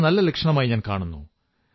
ഇതൊരു നല്ല ലക്ഷണമായി ഞാൻ കാണുന്നു